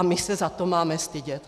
A my se za to máme stydět?